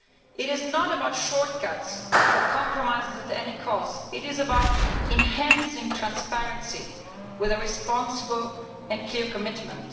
It is not about shortcuts or compromises at any cost it is about enhancing transparency with a responsible and clear commitment.